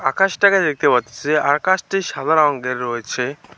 আকাশটাকে দেখতে পারতাসি আকাশটি সাদা রঙ্গের রয়েছে।